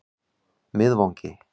Miðvangi